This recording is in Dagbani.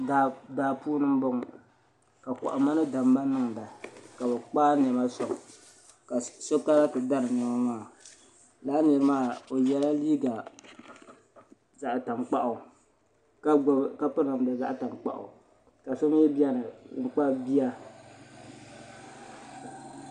Daa puuni m boŋɔ ka kohamma ni damma niŋda ka bɛ kpaagi niɛma soŋ ka so kana ti dari niɛma maa lala nira maa o yela liiga zaɣa tankpaɣu ka piri namda zaɣa tankpaɣu ka so mee biɛni n kpabi bia.